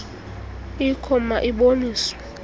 ikho ma iboniswe